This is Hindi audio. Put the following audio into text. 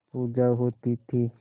पूजा होती थी